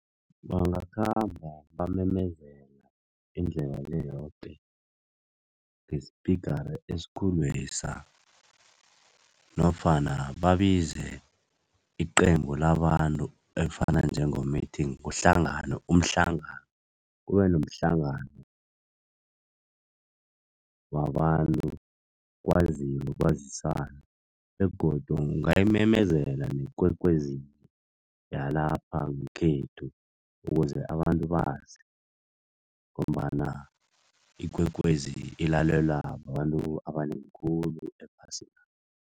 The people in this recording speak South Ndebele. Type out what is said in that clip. Bangakhamba bamemezela indlela le yoke ngesipigara esikhulwesa nofana babize iqembu labantu elifana njengomithini kuhlanganwe umhlangano. Kube nomhlangano wabantu kwaziwe kwaziswane begodu ungayimemezela neKwekwezini yalapha ngekhethu ukuze abantu bazi ngombana iKwekwezi ilalelwa babantu abanengi khulu ephasina.